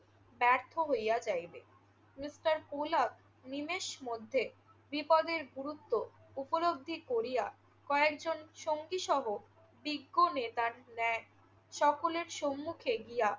ব্যর্থ হইয়া যাইবে। মিস্টার পোলক নিমেষ মধ্যে বিপদের গুরুত্ব উপলব্ধি করিয়া কয়েকজন সঙ্গীসহ বৃক্ষ নেতার ন্যায় সকলের সম্মুখে গিয়া